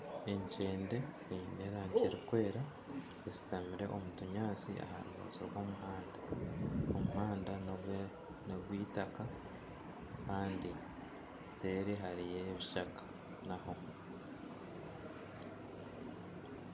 Enkyende eine erangi erikwera eshutamire omu tunyaatsi aharubaju rw'omuhanda. Omuhanda ni ogw'itaka Kandi seeri hariyo ebishaka naho.